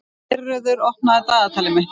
Geirröður, opnaðu dagatalið mitt.